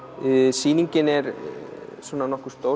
sýningin er svona nokkuð stór